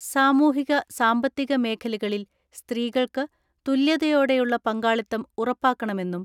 സാമൂ ഹിക സാമ്പത്തിക മേഖലകളിൽ സ്ത്രീകൾക്ക് തുല്യതയോടെ യുള്ള പങ്കാളിത്തം ഉറപ്പാക്കണമെന്നും